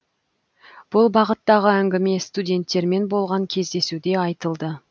бұл бағыттағы әңгіме студенттермен болған кездесуде айтылды